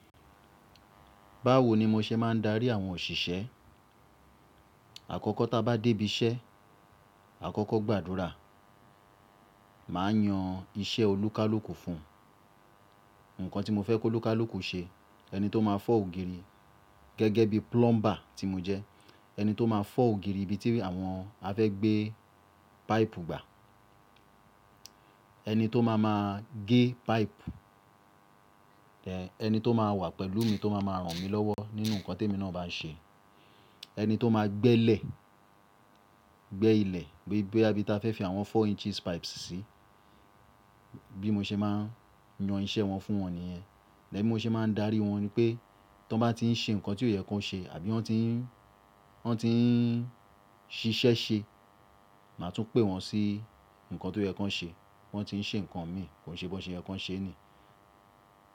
Báwo ni mo ṣe máa ń darí àwọn òṣìṣẹ́? Àkọ́kọ́ tá bá dé ibi iṣẹ́, àkọ́kọ́ gbàdúrà. Màá yan iṣẹ́ olúkálùkù fún, nǹkan tí mo fẹ́ kí olúkálùkù ṣe. Ẹni tó máa fọ́ ògiri, gẹ́gẹ́ bí plumber tí mo jẹ́, ẹni tó máa fọ́ ògiri ibi tí àwọn a fẹ́ gbé pipe gbà, ẹni tó máa máa gé pipe, ẹni tó máa wà pẹ̀lú mi tó má máa ràn mí lọ́wọ́ nínú nǹkan tí èmi náà bá ṣe, ẹni tó máa gbẹ ilẹ̀, gbẹ ilẹ̀ pé bó yá ibi tí a fẹ́ fi àwọn four inches pipes síi. Bí mo ṣe máa ń yan iṣẹ́ wọn fún wọn nìyẹn. E bí mo ṣe máa ń darí wọn ni pé tó bá ti ń ṣe nǹkan tí ò yẹ kan ṣe àbí wọ́n ti ń ṣiṣẹ́ ṣe, màá tún pè wọ́n sí nǹkan tó yẹ kan ṣe. Wọ́n ti ń ṣe nǹkan mi kò ṣe bó ṣe yẹ kan ṣe ni.